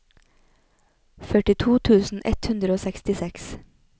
førtito tusen ett hundre og sekstiseks